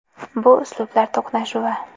Bu uslublar to‘qnashuvi.